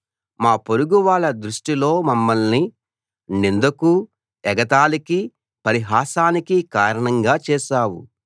మా పొరుగు వాళ్ళ దృష్టిలో మమ్మల్ని నిందకూ ఎగతాళికీ పరిహాసానికీ కారణంగా చేశావు